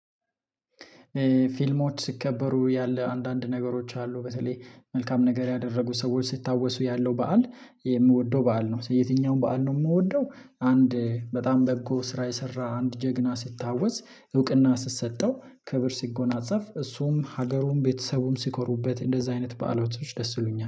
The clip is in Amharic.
ፊልሞች ሲከበሩ ያለ አንዳንድ ነገሮች አሉ በተለይ መልካም ነገር ያደረጉ ሰዎች ሲታወሱ ያለው በዓል የምወደው በዓል ነው። የትኛውም በዓል ነው የምወደው። አንድ በጣም በጎ ስራ የሰራ አንድ ጀግና ሲታወስ እውቅና ሲሰጠው ክብር ሲጎናጸፍ እሱም ሀገሩም ቤተሰቡም ሲኮሩበት እንደዛ አይነት በዓሎቻችን ደስ ይሉኛል